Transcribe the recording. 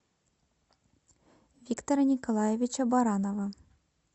виктора николаевича баранова